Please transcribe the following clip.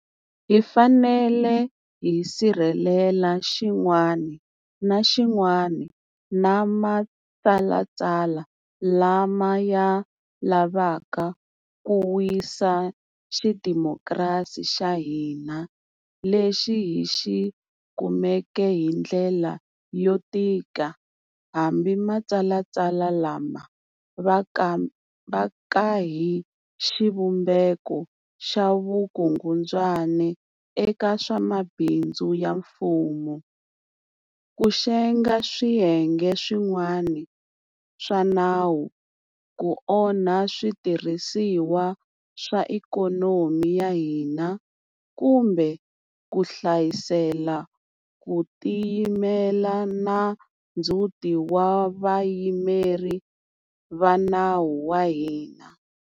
Hi fanele hi sirhelela xin'wana na xin'wana na matshalatshala lama ya lavaka ku wisa xidemokirasi xa hina lexi hi xi kumeke hi ndlela yo tika hambi matshalatshala lama va ka hi xivumbeko xa vukungundzwana eka swa mabindzu ya mfumo, ku xenga swiyenge swin'wana swa nawu, ku onha switirhi siwa swa ikhonomi ya hina, kumbe ku hlayisela ku tiyimela na ndzhuti wa Vayimeri va nawu va hina.